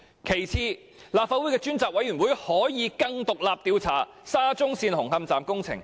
其次，立法會的專責委員會可以更獨立地調查沙中線紅磡站工程問題。